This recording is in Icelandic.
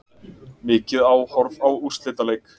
Mikið áhorf á úrslitaleik